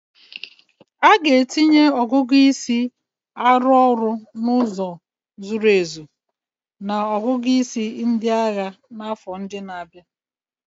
A ga-etinye ọgụgụ isi arụ ọrụ n'ụzọ zuru ezu na ọgụgụ isi ndị agha n'afọ ndị na-abịa